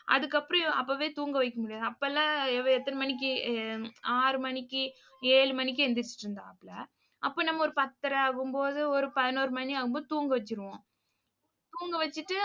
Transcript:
அதுக்கப்புறம், அப்பவே தூங்க வைக்க முடியாது. அப்ப எல்லாம் இவ எத்தன மணிக்கு ஆறு மணிக்கு ஏழு மணிக்கு எந்திரிச்சுட்டு இருந்தாப்ல. அப்ப நம்ம ஒரு பத்தரை ஆகும்போது ஒரு பதினோரு மணி ஆகும் போது தூங்க வச்சிருவோம். தூங்க வச்சிட்டு